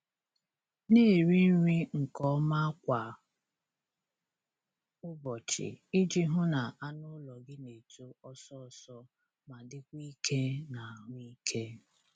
Na-eri nri nke ọma kwa ụbọchị iji hụ na anụ ụlọ gị na-eto ọsọ ọsọ ma dịkwa ike na ahụike.